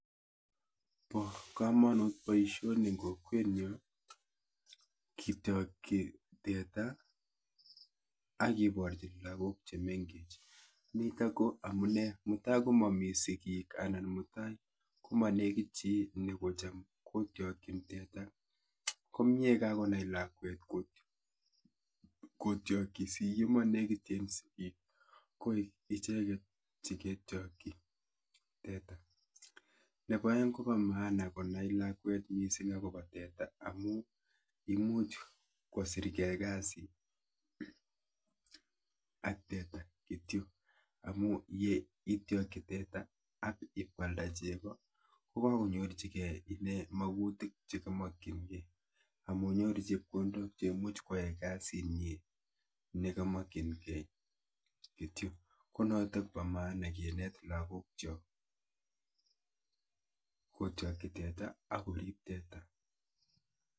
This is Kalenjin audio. Bo komonut boisoni eng' kokwet nyu, kityokchi teta, akiborchin lagok che mengech. Nitok ko amune mutai mami sigik anan mutai komanekit chi, nekocham kotyokchin teta, komie kakonai lakwet um kotyokchi si ye manekiten sigik, ko icheket che ketyokchi teta. Nebo aeng', kobo maana konai lakwet missing akoba teta, amu imuch kosirkei kasi ak teta kityo. Amu yeityokchi teta ak ipkoalda chego, kokakonyorchikeiy ine magutik che kamakchinkeiy. Amu nyoru chepkondok che imuch kwae kasit nyi, nekamakchinkeiy kityo. Ko notok bo maana kinet lagok chok kotyokchi teta, akorip teta.